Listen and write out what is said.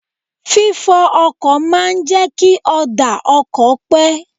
Fi fọ ọkọ̀ máa ń jẹ́ kí ọ̀dà ọkọ̀ pé.